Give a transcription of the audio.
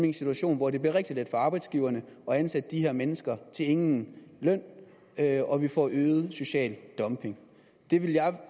en situation hvor det bliver rigtig let for arbejdsgiverne at ansætte de her mennesker til ingen løn og vi får øget social dumping det